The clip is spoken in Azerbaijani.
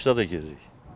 Qışda da gedirik.